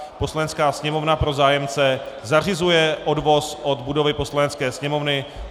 Poslanecká sněmovna pro zájemce zařizuje odvoz od budovy Poslanecké sněmovny.